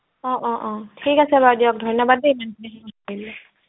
অ অ অ ঠিক আছে বাৰু দিয়ক ধন্যবাদ দেই ইমানখিনি